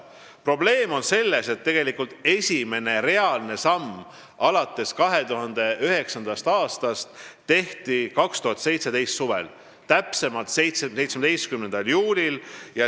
Probleem on selles, et esimene reaalne samm alates 2009. aastast tehti 2017. aasta suvel, täpsemalt 17. juulil.